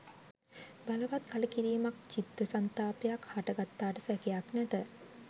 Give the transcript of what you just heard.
බලවත් කලකිරීමක්, චිත්ත සන්තාපයක් හට ගත්තාට සැකයක් නැත.